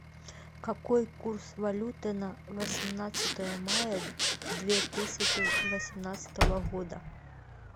какой курс валюты на восемнадцатое мая две тысячи восемнадцатого года